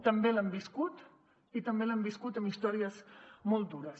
també l’han viscut i també l’han viscut amb històries molt dures